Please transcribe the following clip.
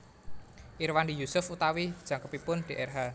Irwandi Yusuf utawi jangkepipun drh